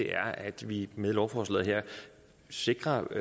er at vi med lovforslaget her sikrer